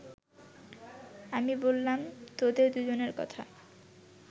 আমি বললাম তোদের দু’জনের কথা